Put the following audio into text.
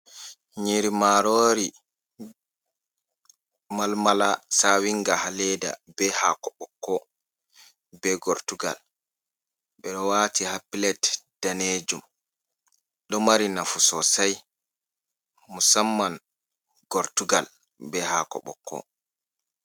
Nyiri marori, malmala sawinga haa leeda, be haako ɓokko, be gortugal, ɓe ɗo waati haa pilet daneejum, ɗo mari nafu sosai musamman gortugal be haako ɓokko.